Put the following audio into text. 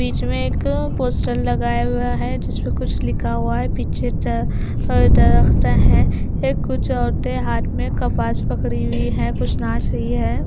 बीच में एक पोस्टर लगाया हुआ है जिसमे कुछ लिखा हुआ है पीछे द दरख्तें हैं कुछ औरतें हाथ में कपास पकड़ी हुई है कुछ नाच रही हैं।